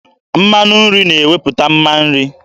Mmanụ nri na-ewepụta mma nri.